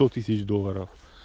сто тысяч долларов